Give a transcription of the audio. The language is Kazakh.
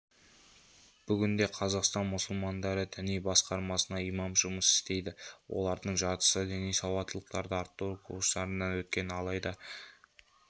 бүгінде қазақстан мұсылмандары діни басқармасында имам жұмыс істейді олардың жартысы діни сауаттылықты арттыру курстарынан өткен алайда